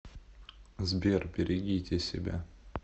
сбер берегите себя